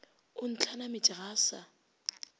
o ntlhanametše ga a sa